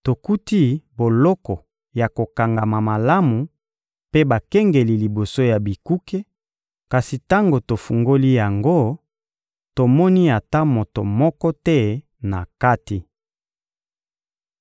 — Tokuti boloko ya kokangama malamu mpe bakengeli liboso ya bikuke; kasi tango tofungoli yango, tomoni ata moto moko te na kati.